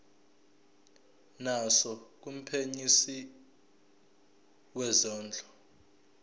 naso kumphenyisisi wezondlo